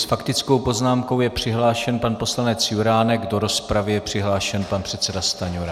S faktickou poznámkou je přihlášen pan poslanec Juránek, do rozpravy je přihlášen pan předseda Stanjura.